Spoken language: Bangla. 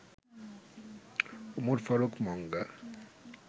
উমর ফারুক মঙ্গা